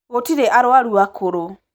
Gũtirĩarwaru akũrũ.